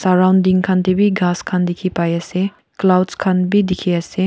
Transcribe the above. sorrounding khan teh bhi ghass khan dikhi pai ase.